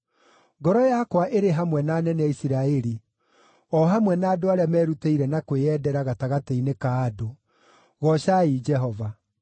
Ngoro yakwa ĩrĩ hamwe na anene a Isiraeli, o hamwe na andũ arĩa merutĩire na kwĩyendera gatagatĩ-inĩ ka andũ. Goocai Jehova.